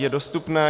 Je dostupné.